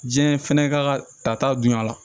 Diɲɛ fɛnɛ ka tata bonya la